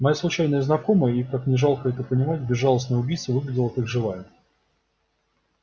моя случайная знакомая и как ни жалко это понимать безжалостная убийца выглядела как живая